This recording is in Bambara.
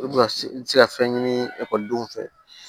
I bɛ ka i bɛ se ka fɛn ɲini ekɔlidenw fɛ